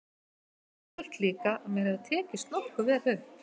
Og ég held líka að mér hafi tekist nokkuð vel upp.